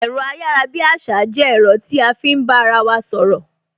Ẹ̀rọ ayarabiasa jẹ́ ẹ̀rọ tí a fi ń bá ara wa sọ̀rọ̀